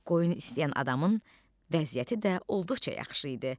Qoyun istəyən adamın vəziyyəti də olduqca yaxşı idi.